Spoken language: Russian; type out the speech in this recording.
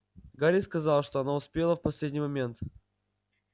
гарик сказал что она успела в последний момент